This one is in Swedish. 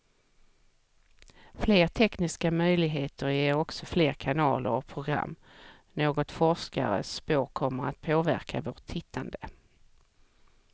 Fler tekniska möjligheter ger också fler kanaler och program, något forskare spår kommer att påverka vårt tittande.